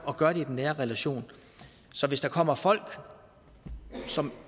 at gøre det i den nære relation så hvis der kommer folk som